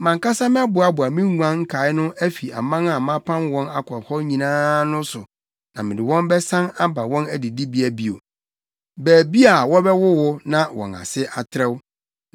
“Mʼankasa mɛboaboa me nguan nkae no afi aman a mapam wɔn akɔ hɔ nyinaa no so na mede wɔn bɛsan aba wɔn adidibea bio, baabi wɔbɛwowo na wɔn ase atrɛw.